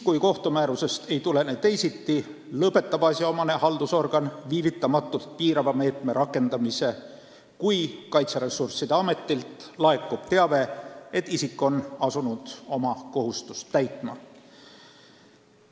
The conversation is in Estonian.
Kui kohtumäärusest ei tulene teisiti, lõpetab asjaomane haldusorgan viivitamatult piirava meetme rakendamise, kui Kaitseressursside Ametilt laekub teave, et isik on asunud oma kohustust täitma.